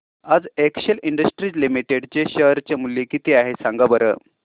आज Excel Industries Limited चे share चे मूल्य किती आहे सांगा बरं